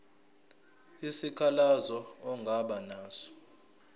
isikhalazo ongaba naso